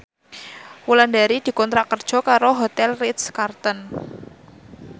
Wulandari dikontrak kerja karo Hotel Ritz Carlton